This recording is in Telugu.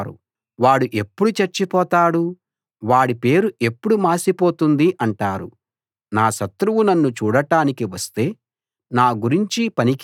నా శత్రువులు నాకు వ్యతిరేకంగా చెడ్డ మాటలు అంటారు వాడు ఎప్పుడు చచ్చిపోతాడు వాడి పేరు ఎప్పుడు మాసిపోతుంది అంటారు